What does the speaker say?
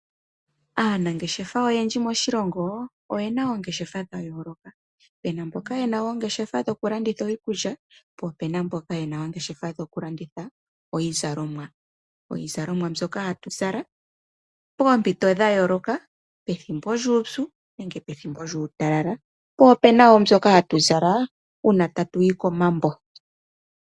Aanangeshefa oyendji moshilongo. Oye na oongeshefa dhayooloka, pe na mboka ye na oongeshefa dhoku landitha iikulya, po pena mboka ye na oongeshefa dhoku landitha iizalomwa, iizalomwa mbyoka ha tu zala poompito dha yooloka, pethimbo lyuupyu nenge pethimbo lyuutalala naa mbyoka ha tu zala uuna ta tu yi komambo.